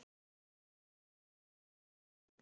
Birna getur átt við